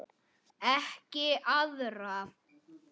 Ekki arða.